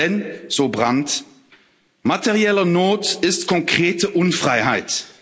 Denn so Brandt materielle Not ist konkrete Unfreiheit.